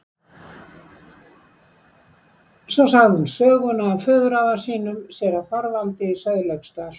Svo sagði hún söguna af föðurafa sínum, séra Þorvaldi í Sauðlauksdal.